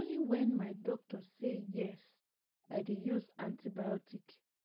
na only whenmy doctor say yes i dey use antibiotic